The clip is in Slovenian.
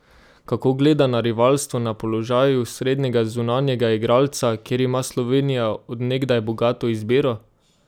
Kako gleda na rivalstvo na položaju srednjega zunanjega igralca, kjer ima Slovenija od nekdaj bogato izbiro?